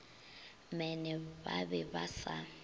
mene ba be ba sa